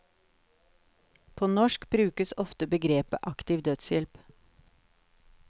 På norsk brukes ofte begrepet aktiv dødshjelp.